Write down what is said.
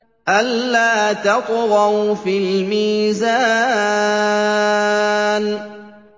أَلَّا تَطْغَوْا فِي الْمِيزَانِ